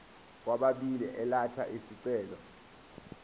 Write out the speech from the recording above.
kwababili elatha isicelo